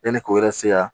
Yanni k'o yɛrɛ se yan